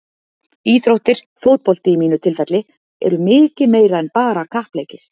Íþróttir, fótbolti í mínu tilfelli, eru mikið meira en bara kappleikir.